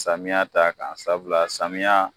Samiya t'a kan sabula samiya